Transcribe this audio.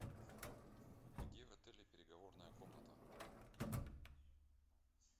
где в отеле переговорная комната